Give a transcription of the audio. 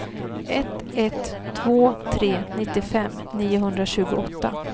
ett ett två tre nittiofem niohundratjugoåtta